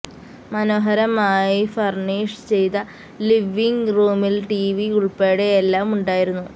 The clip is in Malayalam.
മനോഹരമായി ഫര്ണീഷ് ചെയ്ത ലിവിംഗ് റൂമില് ടിവി ഉള്പ്പെടെ എല്ലാം ഉണ്ടായിരുന്നു